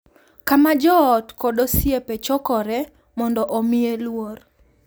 Kama joot kod osiepe chokoree mondo omiye luor,